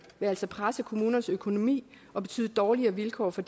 vil altså presse kommunernes økonomi og betyde dårligere vilkår for